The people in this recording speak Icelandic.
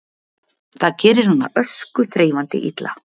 Það gerir hana öskuþreifandi illa